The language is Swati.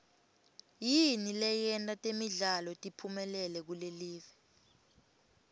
yini leyenta temidlalo tiphumelele kulelive